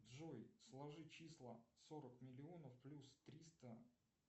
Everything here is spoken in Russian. джой сложи числа сорок миллионов плюс триста